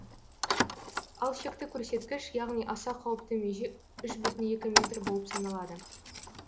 ал шекті көрсеткіш яғни аса қауіпті меже үш бүтін екі метр болып саналады